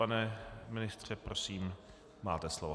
Pane ministře, prosím, máte slovo.